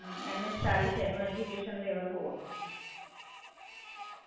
અચ્છા, અહિયાં એમએસ માં લેવાનું હસે ને?